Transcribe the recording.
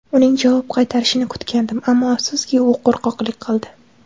Uning javob qaytarishini kutgandim, ammo afsuski, u qo‘rqoqlik qildi.